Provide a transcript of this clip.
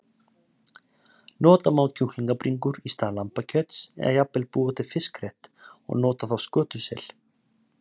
Nota má kjúklingabringur í stað lambakjöts eða jafnvel búa til fiskrétt og nota þá skötusel.